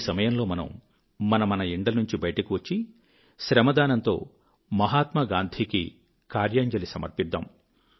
ఈ సమయంలో మనము మన మన ఇండ్ల నుంచి బయటికి వచ్చి శ్రమదానంతో మహాత్మాగాంధీ కి కార్యాంజలి సమర్పిద్దాము